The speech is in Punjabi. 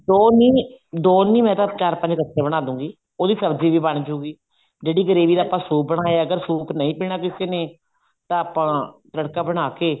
ਦੋ ਨੀ ਦੋ ਨੀ ਮੈਂ ਤਾਂ ਚਾਰ ਪੰਜ ਇੱਕਠੇ ਬਣਾ ਦੂਂਗੀ ਉਹਦੀ ਸਬ੍ਜ਼ੀ ਵੀ ਬਣਜੁਗੀ ਜਿਹੜੀ gravy ਦਾ ਆਪਾਂ ਸੂਪ ਬਣਾਇਆ ਅਗਰ ਸੂਪ ਨਹੀਂ ਪੀਣਾ ਕਿਸੇ ਨੇ ਤਾਂ ਆਪਾਂ ਤੜਕਾ ਬਣਾ ਕੇ